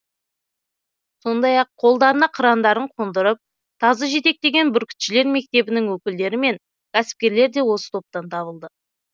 сондай ақ қолдарына қырандарын қондырып тазы жетектеген бүркітшілер мектебінің өкілдері мен кәсіпкерлер де осы топтан табылды